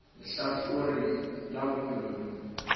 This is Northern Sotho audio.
le lehlakore la bophelo bjo